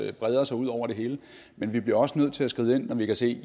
breder sig ud over det hele men vi bliver også nødt til at skride ind når vi kan se